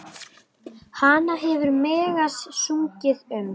Hana hefur Megas sungið um.